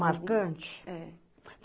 Marcante?